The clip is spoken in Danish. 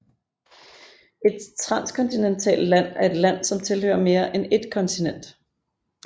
Et transkontinentalt land er et land som tilhører mere end et kontinent